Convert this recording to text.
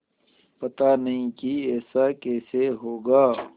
पता नहीं कि ऐसा कैसे होगा